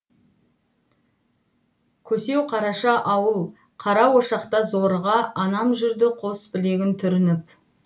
көсеуқараша ауыл қара ошақта зорыға анам жүрді қос білегін түрініп